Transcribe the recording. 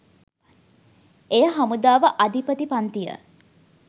එය හමුදාව අධිපති පංතිය